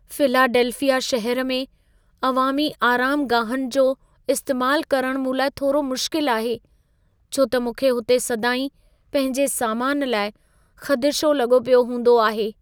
Philadelphia शहरु में अवामी आरामगाहुनि जो इस्तैमालु करणु मूं लाइ थोरो मुश्किल आहे छो त मूंखे हुते सदाईं पंहिंजे समान लाइ ख़दिशो लॻो पियो हूंदो आहे।